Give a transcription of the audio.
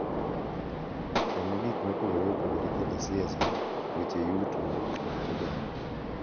Kama gik mopogore opogore kaka siasa, weche yuto, kit oganda,